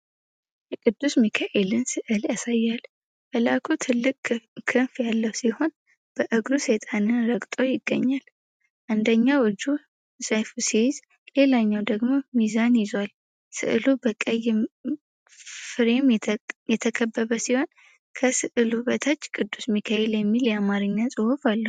የቅዱስ ሚካኤልን ሥዕል ያሳያል። መልአኩ ትልቅ ክንፍ ያለው ሲሆን፤ በእግሩ ሰይጣንን ረግጦ ይገኛል። አንደኛው እጁ ሰይፍ ሲይዝ፤ ሌላኛው ደግሞ ሚዛን ይዟል። ሥዕሉ በቀይ ፍሬም የተከበበ ሲሆን፤ ከሥዕሉ በታች "ቅዱስ ሚካኤል" የሚል የአማርኛ ጽሑፍ አለ።